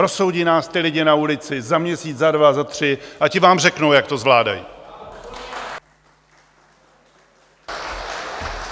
Rozsoudí nás ti lidé na ulici za měsíc za dva, za tři a ti vám řeknou, jak to zvládají.